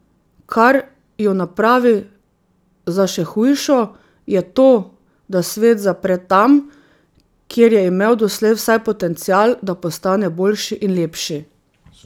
Kar jo napravi za še hujšo, je to, da svet zapre tam, kjer je imel doslej vsaj potencial, da postane boljši in lepši.